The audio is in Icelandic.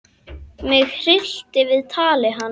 Mig hryllti við tali hans.